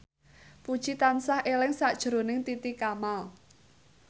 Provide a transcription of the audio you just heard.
Puji tansah eling sakjroning Titi Kamal